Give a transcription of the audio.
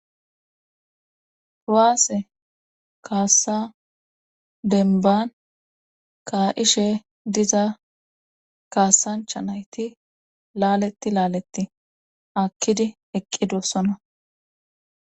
Proaase kaassa denban kaa'she diza kaassancha nayti laaleti laaletti akkidi eqqidossona.